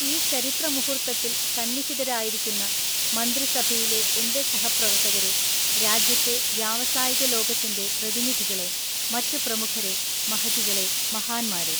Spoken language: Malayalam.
ഈ ചരിത്ര മുഹൂർത്തത്തില്‍ സന്നിഹതരായിരിക്കുന്ന മന്ത്രിസഭയിലെ എൻ്റെ സഹപ്രവർത്തകരെ, രാജ്യത്തെ വ്യാവസായിക ലോകത്തിൻ്റെ പ്രതിനിധികളെ, മറ്റ് പ്രമുഖരേ, മഹതികളെ, മഹാന്മാരെ!